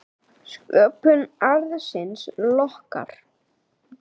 Sköpun arðsins lokkar.